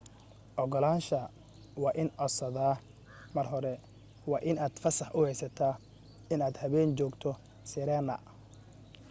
ogolaansha waa in codsadaa mar hore waa in aad fasax u heysata in aad habeen joogto sirena